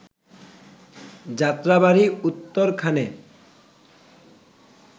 Jatrabari, উত্তরখানে